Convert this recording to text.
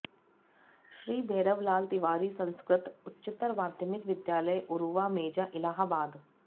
श्री भैरव लाल तिवारी संस्कृत उच्चतर माध्यमिक विद्यालय उरुवा मेजा इलाहाबाद